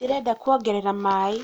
ndĩreda kũongerera maĩ